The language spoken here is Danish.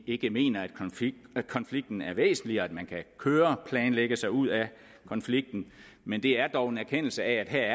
ikke mener at konflikten er væsentlig og at man kan køreplanlægge sig ud af konflikten men det er dog en erkendelse af at der